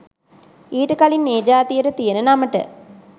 ඊට කලින් ඒ ජාතියට තියෙන නමට